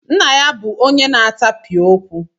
Nna ya bụ onye na-atapịa okwu.